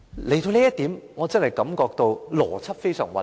說到這裏，我真的感到邏輯非常混亂。